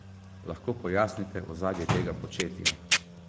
Lahko pojasnite ozadje tega početja?